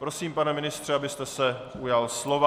Prosím, pane ministře, abyste se ujal slova.